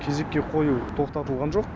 кезекке қою тоқтатылған жоқ